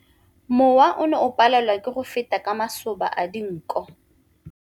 Mowa o ne o palelwa ke go feta ka masoba a dinko.